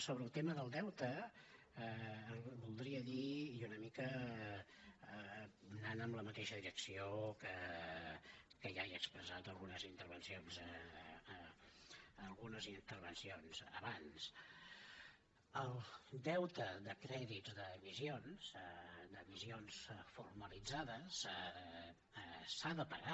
sobre el tema del deute voldria dir i una mica anant en la mateixa direcció que ja he expressat en algunes intervencions abans que el deute de crèdits d’emissions d’emissions formalitzades s’ha de pagar